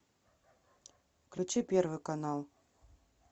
включи первый канал